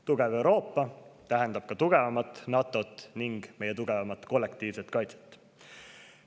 Tugev Euroopa tähendab ka tugevamat NATO‑t ning meie tugevamat kollektiivset kaitset.